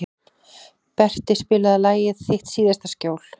Berti, spilaðu lagið „Þitt síðasta skjól“.